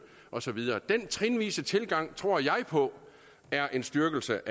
og så videre den trinvise tilgang tror jeg på er en styrkelse